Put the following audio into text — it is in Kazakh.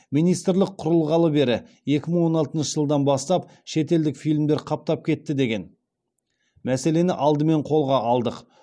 министрлік құрылғалы бері екі мың он алтыншы жылдан бастап шетелдік фильмдер қаптап кетті деген мәселені алдымен қолға алдық